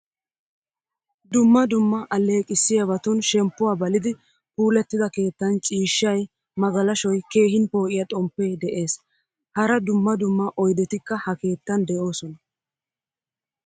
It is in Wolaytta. Dumma dumma alleqisiyaabatun shemppuwaa balidi puulatida keettan ciishshay, magalashoy, keehin po'iyaa xomppe de'ees. Hara dumma dumma oydettikka ha keettan deosona.